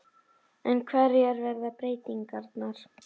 En hverjar verða breytingarnar?